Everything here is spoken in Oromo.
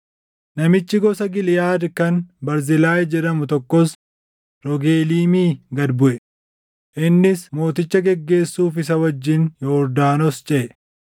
Namichi gosa Giliʼaad kan Barzilaay jedhamu tokkos Rogeliimii gad buʼe; innis mooticha geggeessuuf isa wajjin Yordaanos ceʼe.